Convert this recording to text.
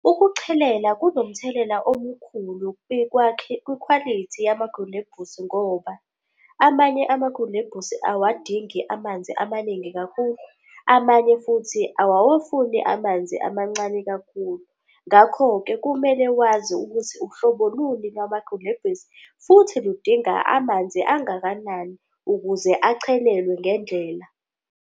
Ukuchelela kunomthelela omkhulu kwikhwalithi yamagilebhusi ngoba amanye amagilebhusi awadingi amanzi amaningi kakhulu, amanye futhi awawafuni amanzi amancane kakhulu. Ngakho-ke, kumele wazi ukuthi uhlobo luni lamagilebhusi futhi ludinga amanzi angakanani ukuze achelelwe ngendlela.